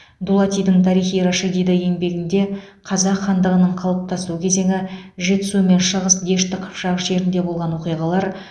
дулатидың тарихи рашиди еңбегінде қазақ хандығының қалыптасу кезеңі жетісу мен шығыс дешті қыпшақ жерінде болған оқиғалар